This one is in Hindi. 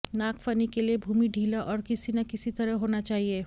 नागफनी के लिए भूमि ढीला और किसी न किसी तरह होना चाहिए